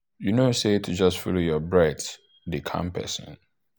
you know say to just follow your breath dey calm person.